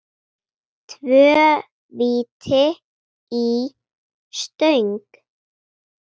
Tvö víti í stöng?